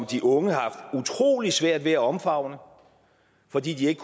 de unge har utrolig svært ved at omfavne fordi de ikke